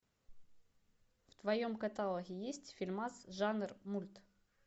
в твоем каталоге есть фильмас жанр мульт